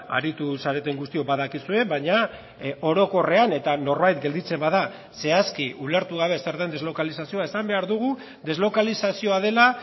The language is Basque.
aritu zareten guztiok badakizue baina orokorrean eta norbait gelditzen bada zehazki ulertu gabe zer den deslokalizazioa esan behar dugu deslokalizazioa dela